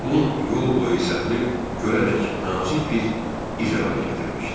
Un yol boyu səpilib, gölədək nazik bir iz əmələ gətirmişdi.